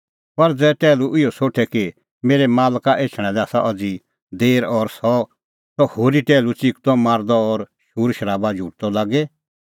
पर ज़ै सह टैहलू इहअ सोठे कि मेरै मालक एछणा लै आसा अज़ी देर और सह होरी टैहलू च़िकदअ मारदअ और शूरशराबा झुटदअ लागे